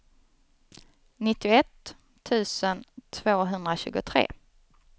nittioett tusen tvåhundratjugotre